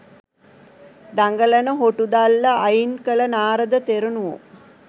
දඟලන හොටු දල්ල අයින් කළ නාරද තෙරණුවෝ